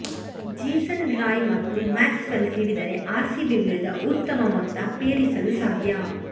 Jason Roy ಮತ್ತು Maxwell ಸಿಡಿದರೆ RCB ವಿರುದ್ಧ ಉತ್ತಮ ಮೊತ್ತ ಪೇರಿಸಲು ಸಾಧ್ಯ